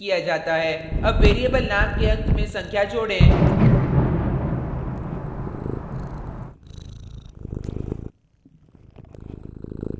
add variable name के अंत में संख्या जोडें